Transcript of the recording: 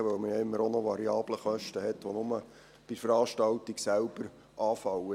Denn man hat ja immer auch variable Kosten, die nur bei der Veranstaltung selbst anfallen.